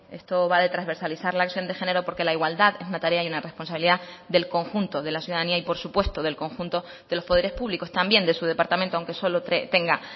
esto va de transversalizar la acción de género porque la igualdad es una tarea y una responsabilidad del conjunto de la ciudadanía y por supuesto del conjunto de los poderes públicos también de su departamento aunque solo tenga